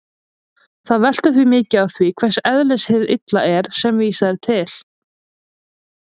Það veltur því mikið á því hvers eðlis hið illa er sem vísað er til.